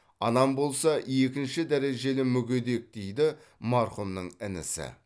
анам болса екінші дәрежелі мүгедек дейді марқұмның інісі